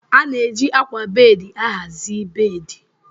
A na-eji ákwà bedi ahazie bedi.